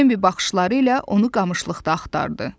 Bembi baxışları ilə onu qamışlıqda axtardı.